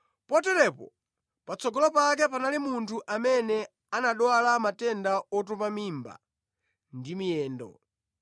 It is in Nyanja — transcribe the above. Poteropo, patsogolo pake panali munthu amene anadwala matenda otupa mimba ndi miyendo.